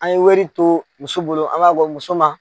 An ye wari to muso bolo, an b'a bɔ muso ma.